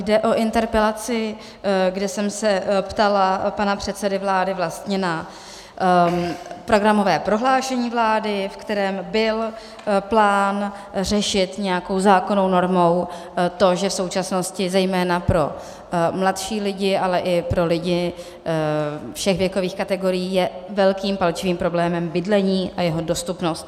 Jde o interpelaci, kde jsem se ptala pana předsedy vlády vlastně na programové prohlášení vlády, ve kterém byl plán řešit nějakou zákonnou normou to, že v současnosti zejména pro mladší lidi, ale i pro lidi všech věkových kategorií je velkým palčivým problémem bydlení a jeho dostupnost.